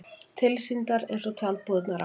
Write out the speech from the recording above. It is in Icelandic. Tilsýndar eins og tjaldbúðirnar á